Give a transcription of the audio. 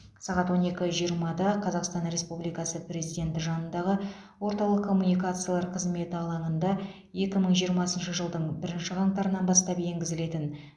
сағат он екі жиырмада қазақстан республикасы президенті жанындағы орталық коммуникациялар қызметі алаңында екі мың жиырмасыншы жылдың бірінші қаңтарынан бастап енгізілетін